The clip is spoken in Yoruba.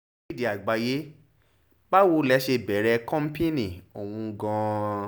akéde àgbàyẹ bàwò lè ṣe bẹ̀rẹ̀ kọ́ńpìnì ọ̀hún gan-an